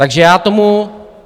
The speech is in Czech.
Takže já tomu...